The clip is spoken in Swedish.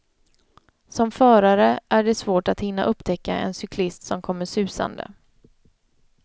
Som förare är det svårt att hinna upptäcka en cyklist som kommer susande.